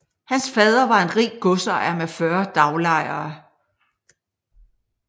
Hans fader var en rig godsejer med 40 daglejere